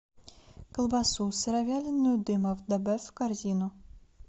колбасу сыровяленую дымов добавь в корзину